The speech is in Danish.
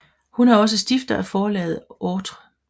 Hun er også stifter af Forlaget Autre